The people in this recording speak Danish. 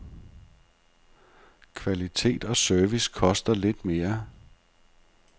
Kvalitet og service koster lidt mere.